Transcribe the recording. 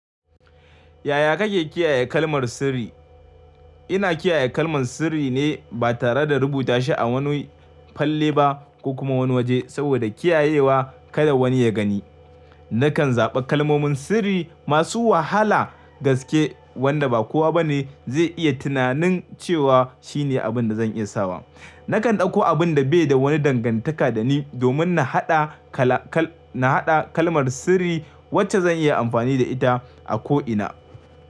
Yaya kake kiyaye kalmar sirri? Ina kiyaye kalmar sirri ne ba tare da rubuta shi a wani falle ba ko kuma wani waje saboda kiyayewa kada wani ya gani. Nakan zaɓa kalmomin sirri masu wahala gaske wanda ba kowa ba ne zai iya tunanin cewa shine abin da zan iya sawa. Nakan ɗauko abun da bai da wani dangantaka da ni domin na haɗa kala kal na haɗa kalmar sirri wacce zan iya amfani da ita a ko ina.